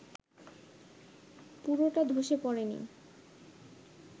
পুরোটা ধসে পড়েনি